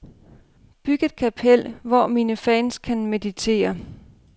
Byg et kapel, hvor mine fans kan meditere.